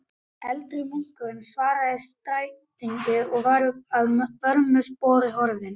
Eldri munkurinn svaraði skætingi og var að vörmu spori horfinn.